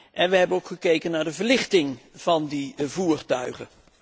En we hebben ook gekeken naar de verlichting van die voertuigen.